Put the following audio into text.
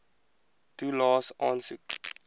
toelaes aansoek